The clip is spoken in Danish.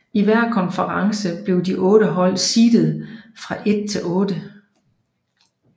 I hver konference blev de otte hold seedet fra 1 til 8